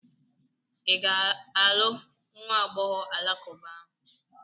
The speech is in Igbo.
Ị ga-alụ nwa agbọghọ alakụba ahụ?